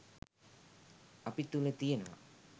අපි තුළ තියනවා.